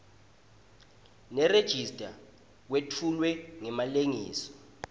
nerejista kwetfulwe ngemalengiso